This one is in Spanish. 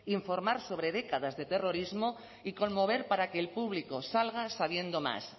informar sobre décadas de terrorismo y conmover para que el público salga sabiendo más